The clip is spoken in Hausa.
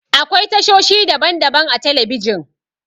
Akwai tashoshi daban-daban a telebijin.